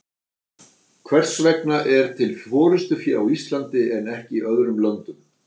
hvers vegna er til forystufé á íslandi en ekki í öðrum löndum